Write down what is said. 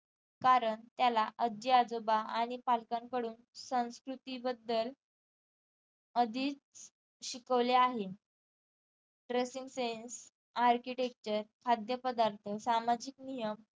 कारण त्याला आजी आजोबा आणि पालकांकडून संस्कृती बदल आधीच शिकवले आहे dressing sense ARCHITECTURE खाद्यपदार्थ, सामाजिक नियम